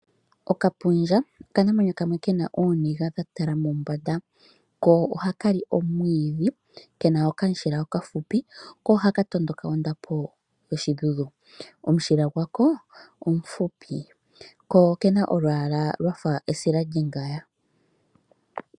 Okapundja okanamwenyo kamwe kena ooniga dhatala mombanda ko ohaka li omwiidhi kena okamushila okafupi ko ohaka tondoka ondapo yoshidhudhu. Omushila gwako omufupi ko okena olwaala lwafa esila lyongaya.